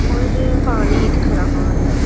और पानी दिख रहा है।